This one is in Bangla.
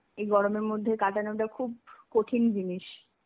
এই গরমের মধ্যে কাটানোটা খুব কঠিন জিনিস.